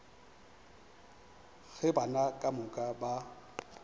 ge bana ka moka ba